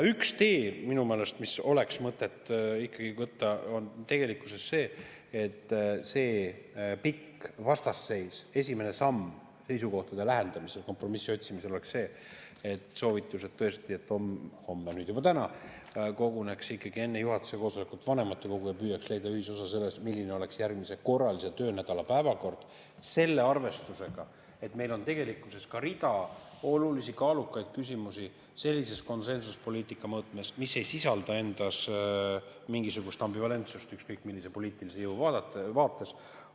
Üks tee, mida minu meelest oleks mõtet ikkagi võtta, on tegelikkuses see, et selle pika vastasseisu esimene samm seisukohtade lähendamisel ja kompromissi otsimisel oleks see soovitus, et homme – nüüd juba täna – koguneks enne juhatuse koosolekut ikkagi vanematekogu ja püüaks leida ühisosa selles, milline oleks järgmise korralise töönädala päevakord selle arvestusega, et meil on tegelikkuses ka rida olulisi, kaalukaid küsimusi sellises konsensuspoliitika mõõtmes, mis ei sisalda endas mingisugust ambivalentsust ükskõik millise poliitilise jõu vaates.